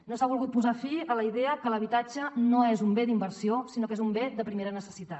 no s’ha volgut posar fi a la idea que l’habitatge no és un bé d’inversió sinó que és un bé de primera necessitat